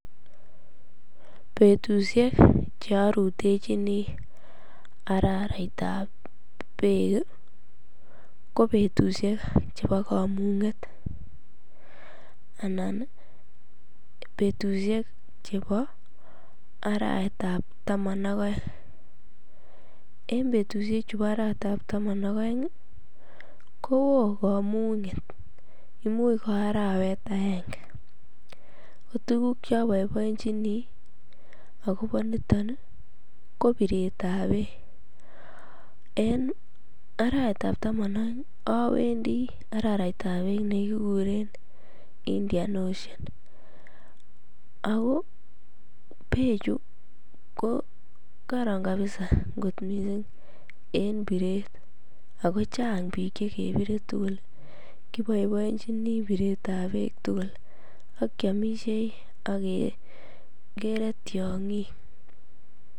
Betusiek che arutechini araritab beek ko betusiek chepo komung'et anan betusiek chebo arawetab taman ak aeng en betusiechu bo arawetab tamanak aeng kowo komung'et imuch ko arawet aeng kotukuk che aboiboenjini akopo nito kobiretab beek en arawetab taman aeng awendi araraitab beek nekikuren Indian ocean ako bechu kokoron kabisa kot missing en biret ako chang biik chekebire tugul kiboiboenjini biretab beek tugul akiamisiei akekere tiong'ik.